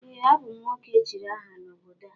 Ee, a bụ m nwoke echiri aha n’obodo a